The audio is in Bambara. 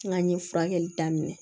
N k'an ye furakɛli daminɛ